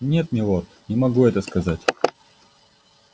нет милорд не могу этого сказать